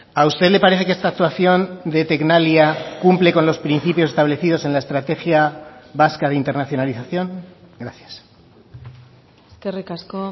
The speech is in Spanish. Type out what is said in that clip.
a usted le parece que esta actuación de tecnalia cumple con los principios establecidos en la estrategia vasca de internacionalización gracias eskerrik asko